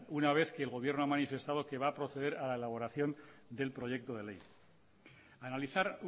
una vez que el gobierno ha manifestado que va a proceder a la elaboración del proyecto de ley analizar